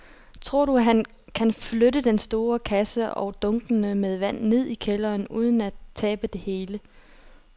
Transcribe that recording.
Tror du, at han kan flytte den store kasse og dunkene med vand ned i kælderen uden at tabe det hele?